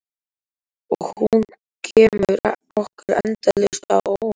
Og hún kemur okkur endalaust á óvart.